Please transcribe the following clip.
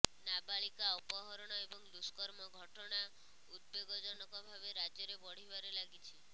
ନାବାଳିକା ଅପହରଣ ଏବଂ ଦୁଷ୍କର୍ମ ଘଟଣା ଉଦବେଗଜନକ ଭାବେ ରାଜ୍ୟରେ ବଢ଼ିବାରେ ଲାଗିଛି